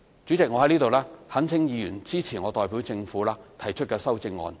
主席，我在此懇請議員支持我代表政府提出的修正案。